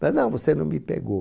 Mas não, você não me pegou.